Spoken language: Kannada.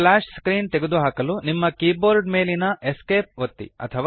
ಸ್ಪ್ಲಾಶ್ ಸ್ಕ್ರೀನ್ ತೆಗೆದುಹಾಕಲು ನಿಮ್ಮ ಕೀಬೋರ್ಡ್ ಮೇಲಿನ ESC ಒತ್ತಿ